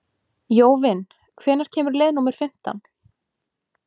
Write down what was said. Jóvin, hvenær kemur leið númer fimmtán?